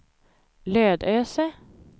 Lödöse